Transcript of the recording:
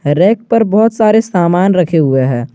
Rack पर बहुत सारे सामान रखे हुए हैं।